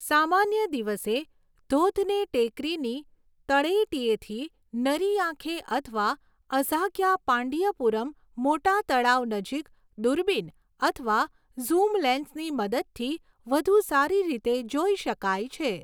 સામાન્ય દિવસે, ધોધને ટેકરીની તળેટીએથી નરી આંખે અથવા અઝાગિયપાંડિયપુરમ મોટા તળાવ નજીક દૂરબીન અથવા ઝૂમ લેન્સની મદદથી વધુ સારી રીતે જોઈ શકાય છે.